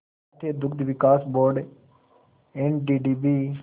राष्ट्रीय दुग्ध विकास बोर्ड एनडीडीबी